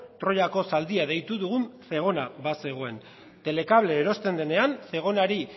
troyako zaldia deitu dugun zegona bazegoen telecable erosten denean zegonari